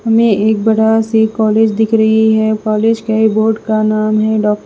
में एक बड़ा से कॉलेज दिख रही है कॉलेज के बोर्ड का नाम है ड--